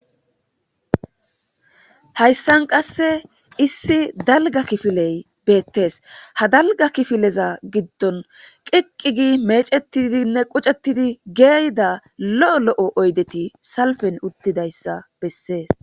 Hayssan qasse issi dalgga kifiley beettees. ha dalgga kifileza giddon qiqqigi meecettidinne qucettidi geeyida lo'o lo'o oydeti salffen uttidayssa bessees.